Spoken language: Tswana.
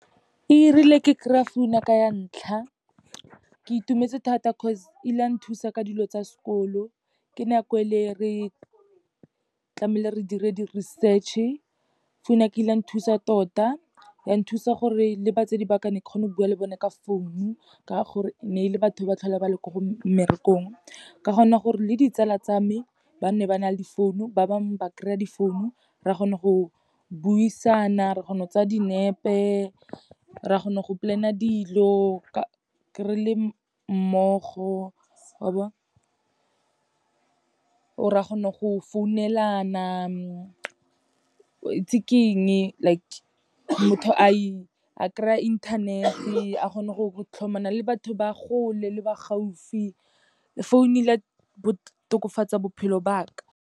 E rile ke kry-a founu ya ka ya ntlha, ke itumetse thata cause ile ya nthusa ka dilo tsa sekolo, ke nako e le re tlamehile re dire di-research-e. Founu ya ka e ile ya nthusa tota, ya nthusa gore le batsadi ba ka ne ke kgona go bua le bone ka founu, ka gore ne e le batho ba tlhola ba le ko mmerekong. Ka kgona gore le ditsala tsa me, bane ba na le difounu, ba bangwe ba kry-a difounu, re kgona go buisana, ra kgona go tsaya dinepe, ra kgona go plan-a dilo re le mmogo, wa bona. Or, ra kgona go founelana, waitse ke eng, like motho a kry-a internet-e, a kgona go tlhomana le batho ba kgole le ba gaufi, founo ile ya bo tokofatsa bophelo ba ka.